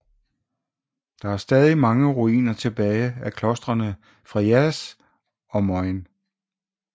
Der er stadig mange ruiner tilbage af klostrene Friarys og Moyne